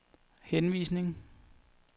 henvisning